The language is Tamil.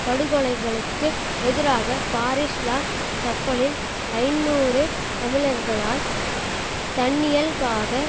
படுகொலைகளுக்கு எதிராக பாரிஸ் லா சப்பல்லில் ஐநூறு தமிழர்களால் தன்னியல்பாக